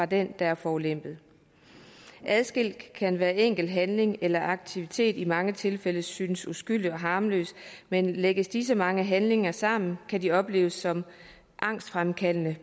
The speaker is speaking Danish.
den der er forulempet adskilt kan hver enkelt handling eller aktivitet i mange tilfælde synes uskyldig og harmløs men lægges disse mange handlinger sammen kan de opleves som angstfremkaldende